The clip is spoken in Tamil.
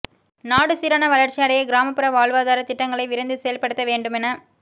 நாடு சீரான வளர்ச்சி அடைய கிராமப்புற வாழ்வாதார திட்டங்களை விரைந்து செயல்படுத்த வேண்டும் என